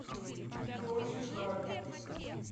мне очень жаль